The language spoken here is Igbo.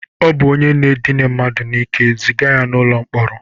Ọ bụ onye n'ike, ziga ya n'ụlọ mkpọrọ!